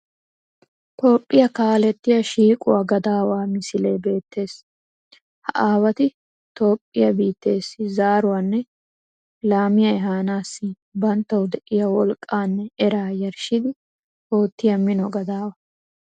Toophiya kaalettiya shiiquwa gadawaa misilee beettees. Ha aawati Toophiya biitteessi zaaruwanne laamiya ehaanaassi banttawu de'iya woliqqaanne eraa yarishshidi oottiya mino gadaawa.